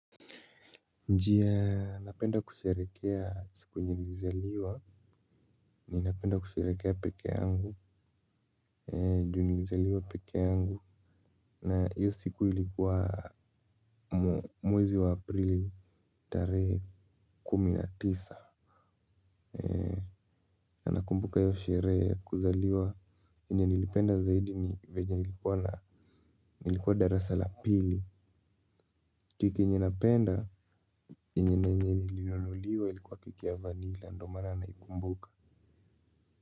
Njia napenda kusherehekea siku yenye nilizaliwa. Ninapenda kusherehekea peke yangu ju nilizaliwa peke yangu. Na hiyo siku ilikuwa mwezi wa aprili tarehe kumi na tisa. Na nakumbuka hiyo sherehe ya kuzaliwa yenye nilipenda zaidi ni venye nilikuwa na nilikuwa darasa la pili. Keki yrnye napenda yenye nilinunuliwa ilikuwa keki ya vanilla. Ndio maana naikumbuka.